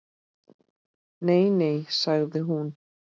Nei, nei sagði hún.